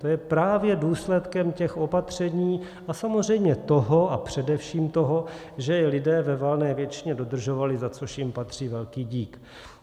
To je právě důsledkem těch opatření a samozřejmě toho, a především toho, že je lidé ve valné většině dodržovali, za což jim patří velký dík.